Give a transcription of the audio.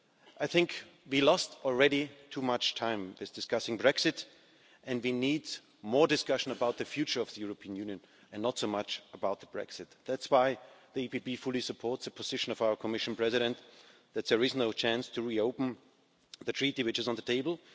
I think we have already lost too much time discussing Brexit, and we need more discussion about the future of the European Union and not so much about Brexit. That's why the EPP Group fully supports the position of our Commission President that there is no chance to reopen the treaty which is on the table.